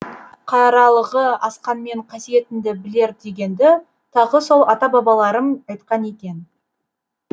қаралығы асқанмен қасиетіңді білер дегенді тағы сол ата бабаларым айтқан екен